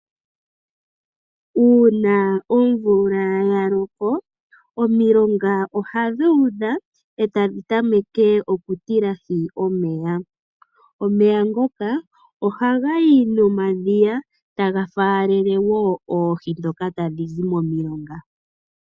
Uuna omvula ya loko omilonga oha dhuudha etadhi tameke okutilahi omeya ,omeya ngoka ohagayi momadhiya taga faalele wo oohi dhoka tadhi zi momilonga.